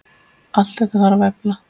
Allt þetta þarf að efla.